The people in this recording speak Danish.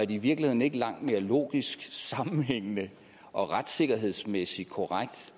i virkeligheden ikke langt mere logisk og sammenhængende og retssikkerhedsmæssigt korrekt